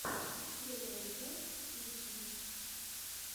первая часть фьюче